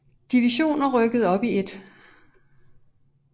Division og rykkede op i 1